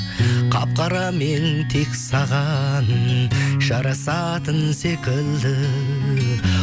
қап қарамен тек саған жарасатын секілді